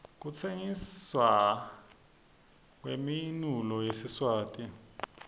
kutsengisna kwemounulo yesiswati